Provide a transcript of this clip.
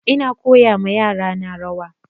Ina koya wa yara na rawa